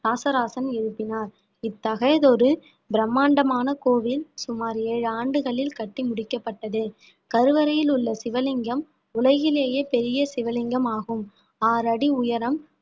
இராசராசன் எழுப்பினார் இத்தகையதொரு பிரம்மாண்டமான கோவில் சுமார் ஏழு ஆண்டுகளில் கட்டி முடிக்கப்பட்டது கருவறையில் உள்ள சிவலிங்கம் உலகிலேயே பெரிய சிவலிங்கம் ஆகும் ஆறடி உயரம்